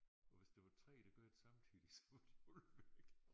Og hvis der var 3 der gør det samtidig så var de alle væk